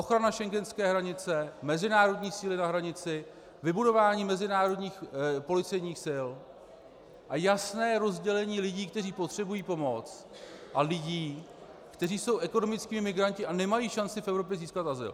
Ochrana schengenské hranice, mezinárodní síly na hranici, vybudování mezinárodních policejních sil a jasné rozdělení lidí, kteří potřebují pomoc, a lidí, kteří jsou ekonomickými migranty a nemají šanci v Evropě získat azyl.